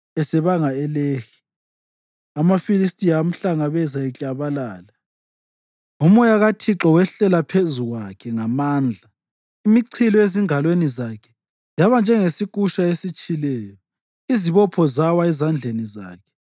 Esebanga eLehi, amaFilistiya amhlangabeza eklabalala. UMoya kaThixo wehlela phezu kwakhe ngamandla. Imichilo ezingalweni zakhe yaba njengesikusha esitshileyo, izibopho zawa ezandleni zakhe.